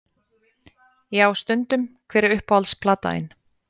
Já stundum Hver er uppáhalds platan þín?